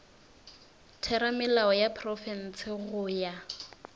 theramelao ya profense go ya